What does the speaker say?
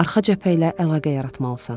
Arxa cəbhə ilə əlaqə yaratmalısan.